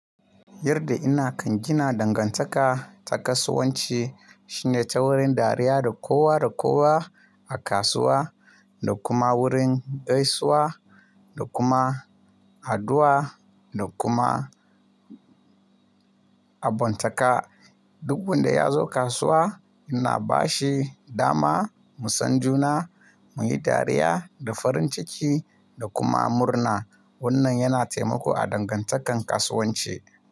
Yadda ina kan gina dangantaka ta kasuwanci shine ta wurin dariya da kowa da kowa a kasuwa da kuma wurin gaisuwa da kuma addu'a da kuma abontaka. Duk wanda ya zo kasuwa ina bashi dama mu san juna, muyi dariya da farin ciki da kuma murna. Wannan yana taimako a dangantakar kasuwanci.